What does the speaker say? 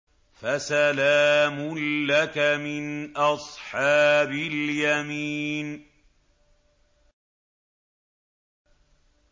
فَسَلَامٌ لَّكَ مِنْ أَصْحَابِ الْيَمِينِ